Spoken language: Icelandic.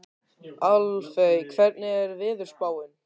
Álfey, hvernig er veðurspáin?